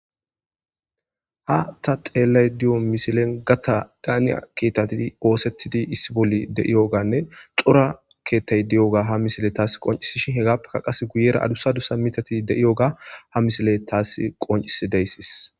Hay ta xelayde diyo misile tani gata ketati osetidi issi bolla diyoganne cora ketati deyiga tas qoncisi hesappe guyera adusa mitati dei'yoga tasi qoncisidaysa